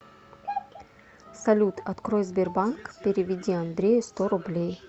салют открой сбербанк переведи андрею сто рублей